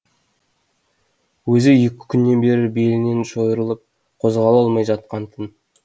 өзі екі күннен бері белінен шойырылып қозғала алмай жатқан тын